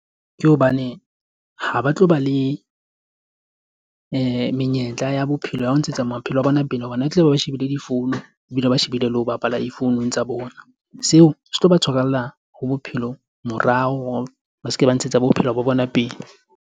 Ke hobane ha ba tlo ba le menyetla ya bophelo ya ho ntshetsa maphelo a bona pele, hobane ba tla be ba shebile difounu. Ebile ba shebile le ho bapala difounung tsa bona. Seo se tlo ba tshwarella ho bophelo morao, ba se ke ba ntshetsa bophelo ba bona pele.